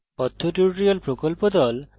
কথ্য tutorial প্রকল্প the